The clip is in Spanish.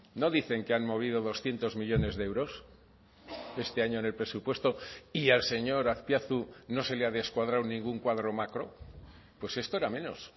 no dicen que han movido doscientos millónes de euros este año en el presupuesto y al señor azpiazu no se le ha descuadrado ningún cuadro macro pues esto era menos